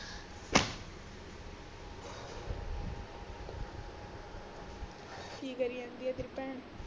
ਕਿ ਕਰੀ ਜਾਂਦੀ ਆ ਤੇਰੀ ਭੈਣ